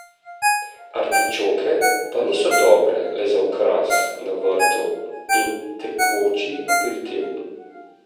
Artičoke pa niso dobre le za okras na vrtu in tekoči aperitiv.